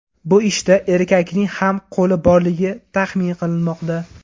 Bu ishda erkakning ham qo‘li borligini taxmin qilinmoqda.